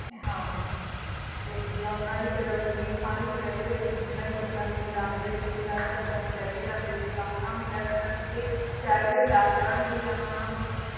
ਹਾਂ ਤੇ ਜਿੱਦਾਂ ਉਹਨਾਂ ਦੀ ਫਿਰ ਵਜ਼ੀਰ ਖ਼ਾਨ ਦੀ ਕਚਿਹਰੀ ਦੇ ਵਿੱਚ ਜਿੱਦਾਂ ਹੀ ਬੱਚਿਆਂ ਨੂੰ ਲਿਜਾਉਂਦੇ ਸੀ ਸਾਹਿਬਜ਼ਾਦਿਆਂ ਨੂੰ ਲੈ ਕੇ ਜਾਂਦੇ ਸੀ ਤਾਂ ਉਹਨਾਂ ਨੂੰ ਕਿਹਾ ਜਾਂਦਾ ਸੀ ਕਿ ਸ਼ਾਇਦ ਇਹ ਡਰ ਜਾਣਗੇ ਜਾਂ ਉਹਨਾਂ ਨੂੰ